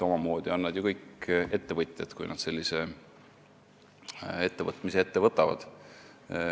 Omamoodi on nad kõik ju ettevõtjad, kui nad sellise ettevõtmise ette võtavad.